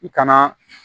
I kana